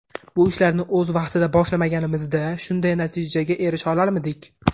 Bu ishlarni o‘z vaqtida boshlamaganimizda shunday natijaga erisha olarmidik.